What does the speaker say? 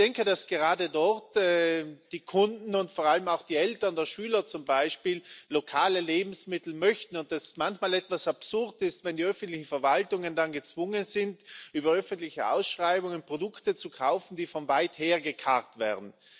Ich denke, dass gerade dort die Kunden und vor allem auch die Eltern der Schüler zum Beispiel lokale Lebensmittel möchten und dass es manchmal etwas absurd ist, wenn die öffentlichen Verwaltungen dann gezwungen sind, über öffentliche Ausschreibungen Produkte zu kaufen, die von weit her gekarrt werden.